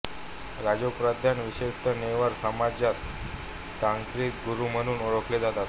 राजोपाध्याय विशेषतः नेवार समाजात तांत्रिक गुरू म्हणून ओळखले जातात